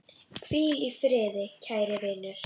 Hvíl í friði, kæri vinur!